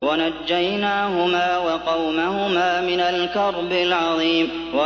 وَنَجَّيْنَاهُمَا وَقَوْمَهُمَا مِنَ الْكَرْبِ الْعَظِيمِ